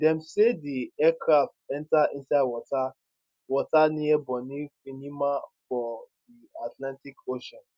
dem say di aircraft enta inside water waters near bonny finima for di atlantic ocean